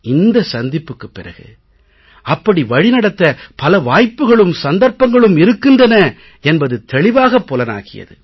இந்த சந்திப்புக்குப் பிறகு அப்படி வழிநடத்த பல வாய்ப்புக்களும் சந்தர்ப்பங்களும் இருக்கின்றன என்பது தெளிவாகப் புலனாகியது